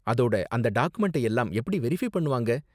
அதோட, அந்த டாக்குமென்ட்டை எல்லாம் எப்படி வெரிஃபை பண்ணுவாங்க?